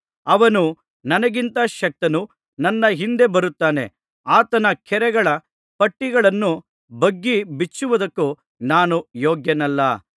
ಅವನು ನನಗಿಂತ ಶಕ್ತನು ನನ್ನ ಹಿಂದೆ ಬರುತ್ತಾನೆ ಆತನ ಕೆರಗಳ ಪಟ್ಟಿಗಳನ್ನು ಬಗ್ಗಿ ಬಿಚ್ಚುವುದಕ್ಕೂ ನಾನು ಯೋಗ್ಯನಲ್ಲ